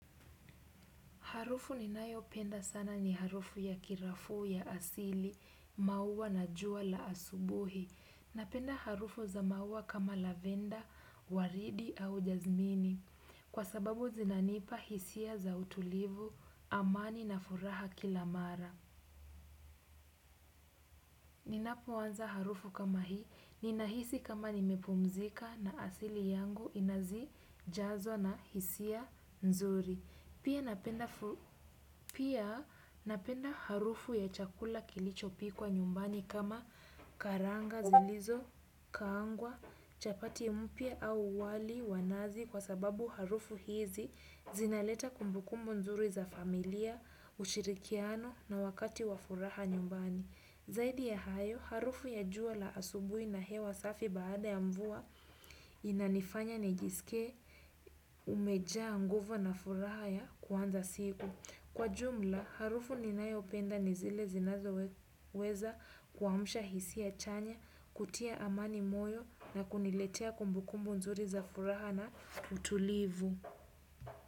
Harufu ninayo penda sana ni harufu ya kirafu ya asili, mauwa na jua la asubuhi. Napenda harufu za mauwa kama lavenda, waridi au jazmini. Kwa sababu zinanipa hisia za utulivu, amani na furaha kilamara. Ninapoanza harufu kama hii, ninahisi kama nimepumzika na asili yangu inazijazwa na hisia nzuri. Pia napenda harufu ya chakula kilicho pikwa nyumbani kama karanga zilizo, kangwa, chapati mpya au wali wanazi kwa sababu harufu hizi zinaleta kumbukumbu nzuri za familia, ushirikiano na wakati wa furaha nyumbani. Zaidi ya hayo, harufu ya jua la asubui na hewa safi baada ya mvua inanifanya nijisikie umejanguvu na furaha ya kuanza siku. Kwa jumla, harufu ninayo penda nizile zinazo weza kuamsha hisiya chanya, kutia amani moyo na kuniletea kumbukumbu nzuri za furaha na utulivu.